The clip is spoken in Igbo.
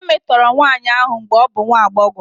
E metọrọ nwanyị ahụ mgbe ọ bụ nwa agbọghọ.